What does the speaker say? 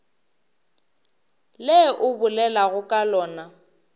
le o bolelago ka lona